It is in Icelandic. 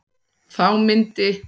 Þá myndi